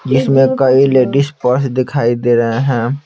जिसमें कई ladies purse दिखाई दे रहे हैं।